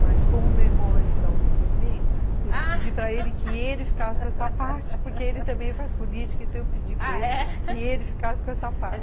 Mas como meu irmão vai vir dar o depoimento eu pedi para ele que ele ficasse com essa parte, porque ele também faz política, então eu pedi para ele, ah, é? que ele ficasse com essa parte.